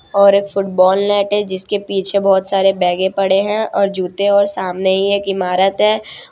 और एक football net है जिसके पीछे बहोत सारे बैगे पड़े हैं और जूते और सामने ही एक इमारत है।